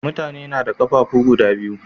Mutane nada qafafu guda biyu